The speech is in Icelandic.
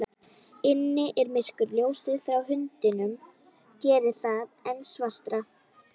Inni er myrkur, ljósið frá hundinum gerir það enn svartara.